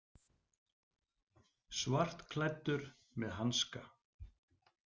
Svartklæddur með hanska.